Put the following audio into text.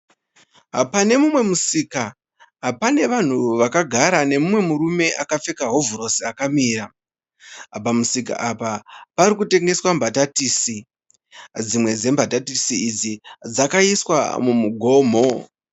Pane mumwe musika, pane vanhu vakagara nemumwe murume akapfeka hovhorosi akamira. Pamusika apa pari kutengeswa mbatatisi. Dzimwe dzembatatisi idzi dzakaiswa mumugomo.